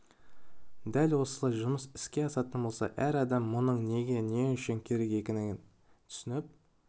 дәл осылай жұмыс іске асатын болса әр адам мұның неге не үшін керек екенін түсініп